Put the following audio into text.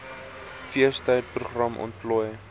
feestyd program ontplooi